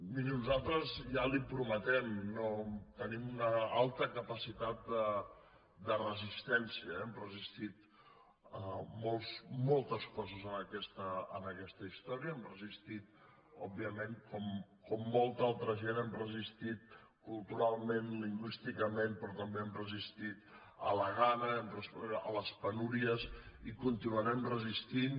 miri nosaltres ja li ho prometem tenim una alta capacitat de resistència eh hem resistit moltes coses en aquesta història hem resistit òbviament com molta altra gent hem resistit culturalment lingüísticament però també hem resistit a la gana a les penúries i continuarem resistint